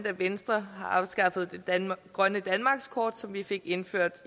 at venstre har afskaffet det grønne danmarkskort som vi fik indført